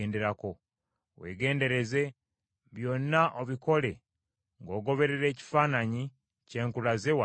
Weegendereze, byonna obikole ng’ogoberera ekifaananyi kye nkulaze wano ku lusozi.”